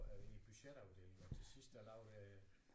I budget afdelingen og til sidst der lavede jeg